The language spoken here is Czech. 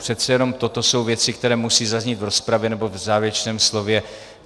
Přece jenom toto jsou věci, které musí zaznít v rozpravě nebo v závěrečném slově.